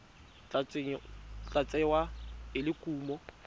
tla tsewa e le kumo